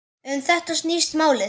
Um þetta snýst málið.